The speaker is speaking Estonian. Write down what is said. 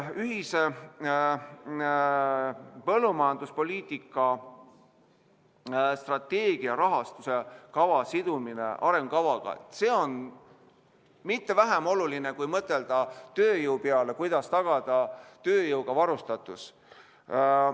Ühise põllumajanduspoliitika strateegia rahastamise kava sidumine arengukavaga, see on mitte vähem oluline, kui mõtelda tööjõu peale, kuidas tagada tööjõuga varustatus.